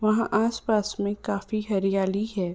वहां आसपास में काफी हरियाली है।